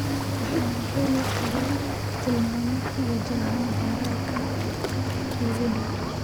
Waxaan heli karaa tilmaamo ku wajahan baararka kuugu dhow